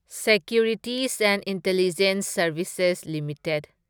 securities and intelligence services limited